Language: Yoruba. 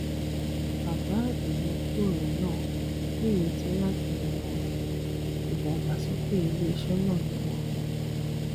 àbá ìmúgbòrò náà nírètí láti ran ìdàgbàsókè iléiṣẹ náà lọwọ